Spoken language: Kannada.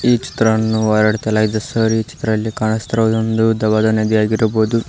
ಈ ಚಿತ್ರಅನ್ನು ಹೊರಡಿತಲಾಗಿದೆ ಸರ್ ಈ ಚಿತ್ರಲಿ ಕಾಣಿಸ್ತಿರೋ ಹಾಗೆ ಒಂದು ಉದ್ದವಾದ ನದಿ ಆಗಿರಬಹುದು.